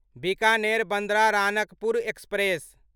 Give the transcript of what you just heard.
Bikaner Bandra Ranakpur express